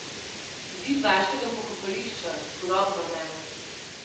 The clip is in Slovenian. Zid vaškega pokopališča, turobno vreme.